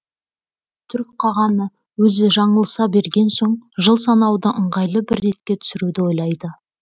түрік қағаны өзі жаңылыса берген соң жыл санауды ыңғайлы бір ретке түсіруді ойлайды